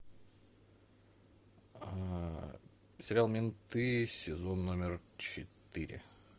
сериал менты сезон номер четыре